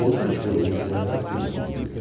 Outros foram muito mais acima, evidente.